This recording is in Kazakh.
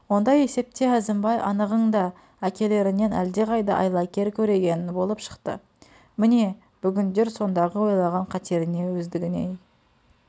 ондай есепте әзімбай анығыңда әкелерінен әлдеқайда айлакер көреген болып шықты міне бүгіндер сондағы ойлаған қатеріне өздігіней